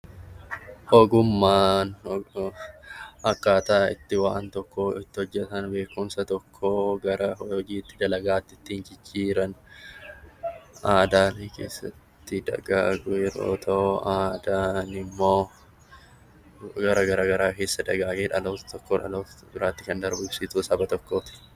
Ogummaan akkaataa itti waan tokko itti hojjetan beekumsa tokkoo gara hojiitti dalagaatti ittiin jijjiiran aadaalee keessatti dagaagu yeroo ta'u aaadaan immoo gara garaa garaa keessa dagaagee dhaloota tokkoo dhaloota biraatti kan darbu ibsituu saba tokkooti.